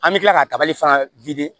An bɛ tila ka tabali fana